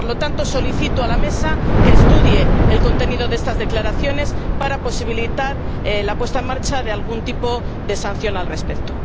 Por lo tanto, solicito a la Mesa que estudie el contenido de estas declaraciones, para posibilitar la puesta en marcha de algún tipo de sanción al respecto.